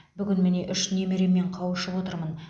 бүгін міне үш немереммен қауышып отырмын